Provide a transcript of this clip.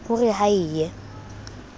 ho re ha e ye